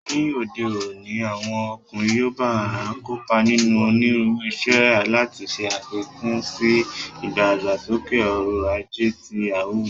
Ní òde òní, àwọn ọkùnrin yoòbá n kópa nínú onírúurú iṣẹ́, láti ṣe àfikún sí ìdàgbàsókè ọrọ̀ ajé àti àwùjọ